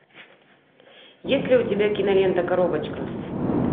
есть ли у тебя кинолента коробочка